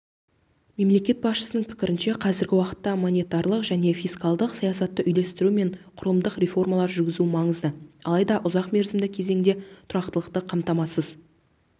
мемлекет басшысының пікірінше қазіргі уақытта монетарлық және фискалдық саясатты үйлестіру мен құрылымдық реформалар жүргізу маңызды алайда ұзақ мерзімді кезеңде тұрақтылықты қамтамасыз